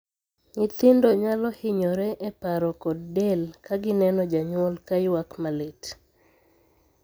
Nyithindo nyalo hinyore e paro kod del ka gineno janyuol ka ywak malit.